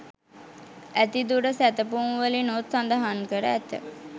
ඇති දුර සැතපුම්වලිනුත් සඳහන් කර ඇත.